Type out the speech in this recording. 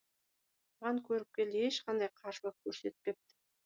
бұған көріпкел ешқандай қарсылық көрсетпепті